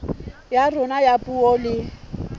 ya rona ya puo le